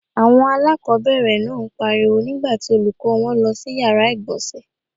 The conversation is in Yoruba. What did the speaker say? Àwọn aláàkọ́bẹ̀rẹ̀ náà ń pariwo nígbà tí Olùkọ́ọ wọn lọ sí yàrá ìgbọ̀nsẹ̀